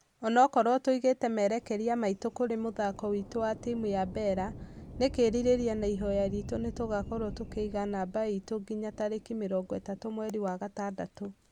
"Onokorwo tũigĩte merekeria maitũ kũrĩ mũthako witũ na timũ ya bella , nĩkĩrirĩrĩria na ihoya ritũ nĩtũgakorwo tũkĩiga namba itũ nginya tarĩkĩ 30 mweri wa ithathatu.